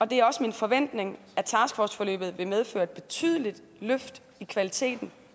det er også min forventning at taskforceforløbet vil medføre et betydeligt løft i kvaliteten